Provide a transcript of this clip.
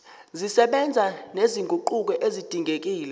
zisebenza nezinguquko ezidingekile